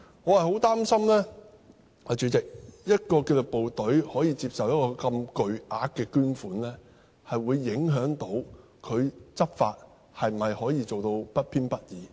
我很擔心，主席，一個紀律部隊可以接受如此巨額的捐款，是會影響其執法能否做到不偏不倚。